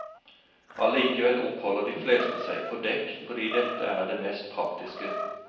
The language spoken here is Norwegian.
Allikevel oppholder de fleste seg på dekk fordi dette er det mest praktiske.